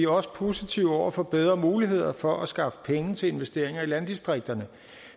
også positive over for bedre muligheder for at skaffe penge til investeringer i landdistrikterne